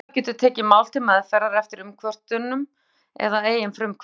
Umboðsmaður getur tekið mál til meðferðar eftir umkvörtun eða að eigin frumkvæði.